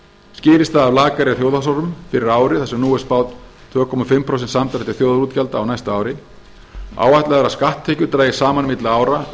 skýrist það af lakari þjóðhagshorfum fyrir árið þar sem nú er spáð tvö og hálft prósent samdrætti þjóðarútgjalda á næsta ári áætlað er að skatttekjur dragist saman milli ára um